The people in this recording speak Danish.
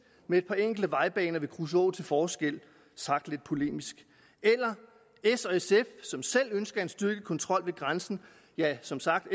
med et par enkelte vejbaner ved kruså til forskel sagt lidt polemisk eller s og sf som selv ønsker en styrket kontrol ved grænsen ja som sagt